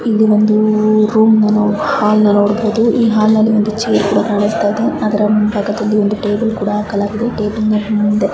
ಇದು ಒಂದು ರೂಮ್ ನ ಹಾಲ್ ನ ನೋಡಬಹುದು ಈ ಹಾಲ್ ನ ಒಂದೇ ಚೇರ್ ಕೂಡ ಕಾಣಿಸ್ತಾ ಇದೆ ಅದರ ಮುಂಭಾಗದಲ್ಲಿ ಒಂದುಒಂದು ಟೇಬಲ್ ಹಾಕಲಾಗಿದೆ.